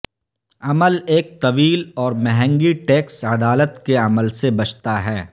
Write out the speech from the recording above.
عمل ایک طویل اور مہنگی ٹیکس عدالت کے عمل سے بچتا ہے